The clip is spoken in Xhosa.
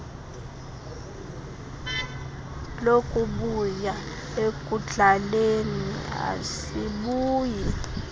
lokubuya ekudlaleni asibuyi